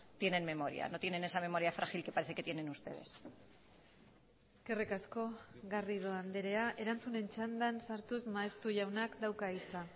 tienen memoria no tienen esa memoria frágil que parece que tienen ustedes eskerrik asko garrido andrea erantzunen txandan sartuz maeztu jaunak dauka hitza